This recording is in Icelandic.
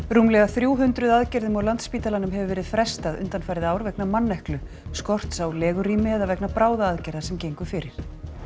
rúmlega þrjú hundruð aðgerðum á Landspítalanum hefur verið frestað undanfarið ár vegna manneklu skorts á legurými eða vegna bráðaaðgerða sem gengu fyrir